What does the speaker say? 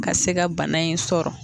Ka se ka bana in sɔrɔ